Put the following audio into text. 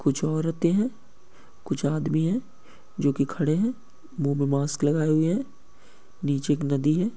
कुछ औरतें हैं कूछआदमि है जो की खड़े हैं। मुंह में मास्क लगाए हुए हैं। नीचे एक नदी है।